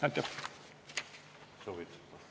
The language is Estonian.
Aitäh!